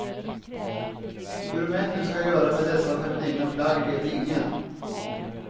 Hur män nu ska göra med dessa feminina plagg vet ingen.